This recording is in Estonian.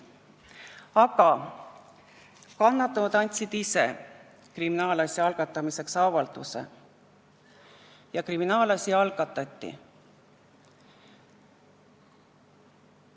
Aga kannatanud andsid ise avalduse kriminaalasja algatamiseks ja kriminaalasi algatati.